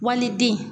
Wali den